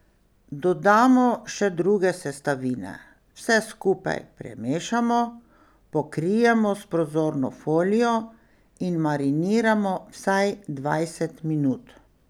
Dodamo še druge sestavine, vse skupaj premešamo, pokrijemo s prozorno folijo in mariniramo vsaj dvajset minut.